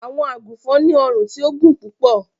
Àwọǹ àgúnfọn ni ọ̀run ti ò gún púpọ̀.